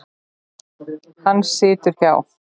Hann situr hjá